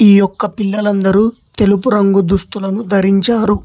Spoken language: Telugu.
ఈ యొక్క పిల్లలందరూ తెలుపు రంగు దుస్తులను ధరించారు.